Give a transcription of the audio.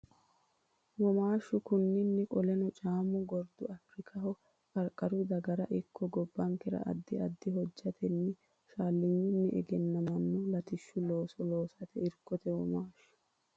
Womaashshu konninni Qoleno Caamo garbi Afirikaho qarqaru dagara ikko gobbankera addi addi hojjatenninna shaallinyunni egennamino latishshu looso loosate irkote Womaashshu.